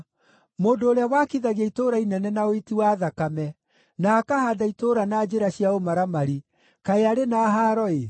“Mũndũ ũrĩa wakithagia itũũra inene na ũiti wa thakame, na akahaanda itũũra na njĩra cia ũmaramari, kaĩ arĩ na haaro-ĩ!